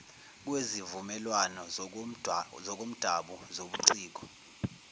kwezivumelwano zokomdabu zobuciko